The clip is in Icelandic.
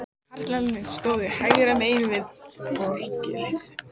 Karlarnir stóðu hægra megin við orgelið.